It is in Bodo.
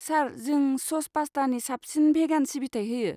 सार, जों स'स पास्टानि साबसिन भेगान सिबिथाय होयो।